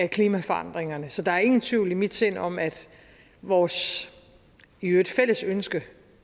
klimaforandringerne så der er ingen tvivl i mit sind om at vores i øvrigt fælles ønske